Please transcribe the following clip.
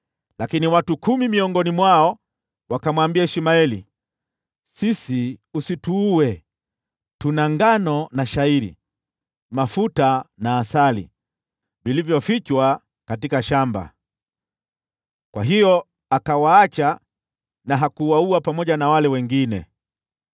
Lakini watu kumi miongoni mwao wakamwambia Ishmaeli, “Sisi usituue! Tuna ngano na shayiri, mafuta na asali, vilivyofichwa katika shamba.” Kwa hiyo akawaacha na hakuwaua pamoja na wale wengine.